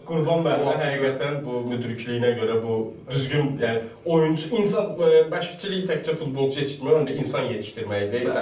Qurban müəllimə həqiqətən bu müdrikləyinə görə, bu düzgün, yəni oyunçu, insan məşqçilik təkcə futbolçu yetişdirmə yox, həm də insan yetişdirməkdir.